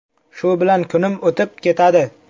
Shu bilan kunim o‘tib ketadi.